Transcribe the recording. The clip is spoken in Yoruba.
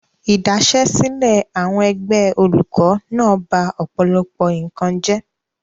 Idasesile àwọn ẹgbẹ́ olùkó náà ba ọ̀pọ̀lọpọ̀ nǹkan jẹ́.